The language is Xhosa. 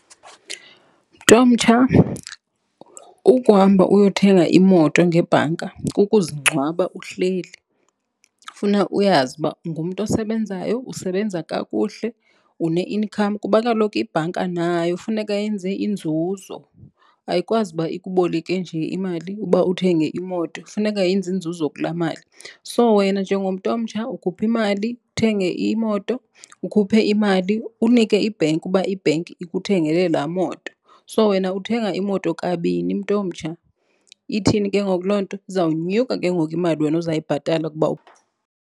Mntomtsha, ukuhamba uyothenga imoto ngebhanka kukuzingcwaba uhleli. Ifuna uyazi uba ungumntu osebenzayo, usebenza kakuhle une-icome. Kuba kaloku ibhanka nayo funeka yenze inzuzo. Ayikwazi uba ikuboleke nje imali uba uthenge imoto. Funeka yenze inzuzo kulaa mali. So, wena njengomntomtsha ukhupha imali uthenge imoto, ukhuphe imali unike ibhenki uba ibhenki ikuthengele laa moto. So, wena uthenga imoto kabini, mntomtsha. Ithini ke ngoku loo nto? Izawunyuka ke ngoku imali wena ozayibhatala kuba.